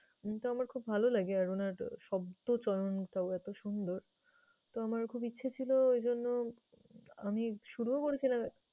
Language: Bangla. এমনিতে আমার খুব ভালো লাগে আর উনার শব্দ চয়নটাও এতো সুন্দর। তো আমার খুব ইচ্ছে ছিল এইজন্য আমি শুরুও করেছিলাম